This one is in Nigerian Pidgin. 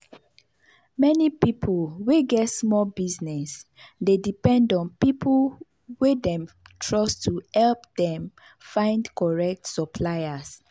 many pipu wey get small business dey depend on pipu wey dem trust to help them find correct suppliers.